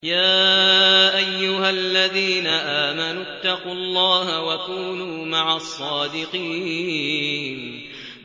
يَا أَيُّهَا الَّذِينَ آمَنُوا اتَّقُوا اللَّهَ وَكُونُوا مَعَ الصَّادِقِينَ